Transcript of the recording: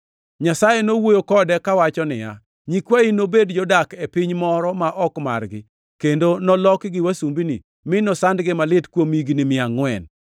Nyasaye nowuoyo kode kawacho ni, ‘Nyikwayi nobed jodak e piny moro ma ok margi, kendo nolokgi wasumbini mi nosandgi malit kuom higni mia angʼwen.